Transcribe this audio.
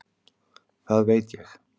Það veit ég